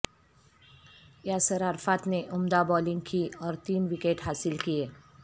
یاسر عرفات نے عمدہ بولنگ کی اور تین وکٹ حاصل کیے